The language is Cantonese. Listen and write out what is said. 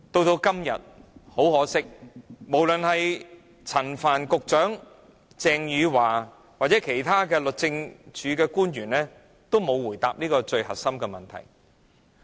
很可惜，陳帆局長、鄭若驊司長或其他律政司的官員均沒有回答這最核心的問題。